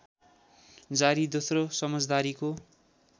जारी दोस्रो समझदारीको